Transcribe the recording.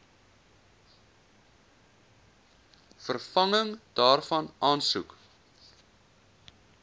vervanging daarvan aansoek